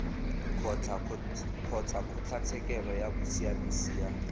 kgotsa kgotlatshekelo ya bosiamisi ya